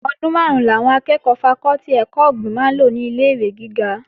Ọdún máàrún làwọn akẹ́ẹ̀kọ́ fakọ́tì ẹ̀kọ́ ọ̀gbìn máa lò ní ilé-ìwé gíga